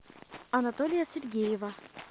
анатолия сергеева